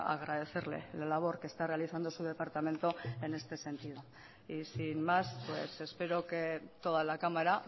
agradecerle la labor que está realizando su departamento en este sentido y sin más espero que toda la cámara